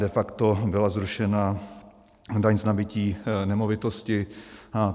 De facto byla zrušena daň z nabytí nemovitosti.